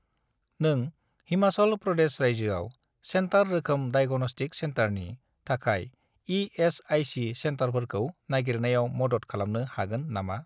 नों हिमाचल प्रदेश रायजोआव सेन्टार रोखोम डाइग'नस्टिक सेन्टारनि थाखाय इ.एस.आइ.सि. सेन्टारफोरखौ नागिरनायाव मदद खालामनो हागोन नामा ?